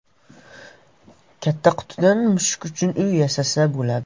Katta qutidan mushuk uchun uy yasasa bo‘ladi.